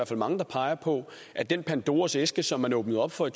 fald mange der peger på at den pandoras æske som man åbnede op for i